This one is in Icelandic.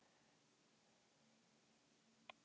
En fannst honum úrslitin gefa rétta mynd af leiknum?